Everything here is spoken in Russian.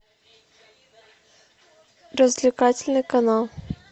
развлекательный канал